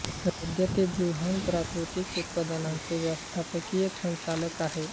सध्या ते बृहन प्राकृतिक उत्पादनांचे व्यवस्थापकीय संचालक आहेत